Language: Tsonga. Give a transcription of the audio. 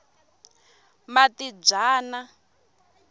matibyana